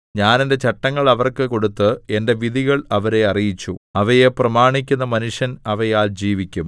ഞാൻ എന്റെ ചട്ടങ്ങൾ അവർക്ക് കൊടുത്ത് എന്റെ വിധികൾ അവരെ അറിയിച്ചു അവയെ പ്രമാണിക്കുന്ന മനുഷ്യൻ അവയാൽ ജീവിക്കും